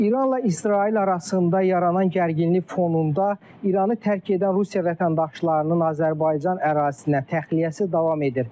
İranla İsrail arasında yaranan gərginlik fonunda İranı tərk edən Rusiya vətəndaşlarının Azərbaycan ərazisinə təxliyəsi davam edir.